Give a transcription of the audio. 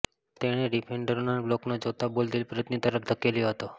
તેણે ડિફેન્ડરોના બ્લોકને જોતાં બોલ દિલપ્રીતની તરફ ધકેલ્યો હતો